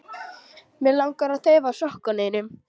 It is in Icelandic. Mig langar að þefa af sokkum þínum.